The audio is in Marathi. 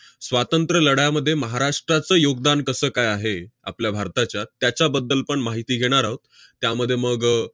स्वातंत्र्य लढ्यामध्ये महाराष्ट्राचं योगदान कसं काय आहे आपल्या भारताच्या, त्याच्याबद्दल पण माहिती घेणार आहोत. त्यामध्ये मग अह